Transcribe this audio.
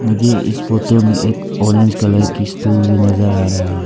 मुझे इस फोटो में एक ऑरेंज कलर की स्टूल भी नजर आ रहा है।